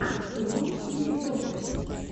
ты можешь включить вестерн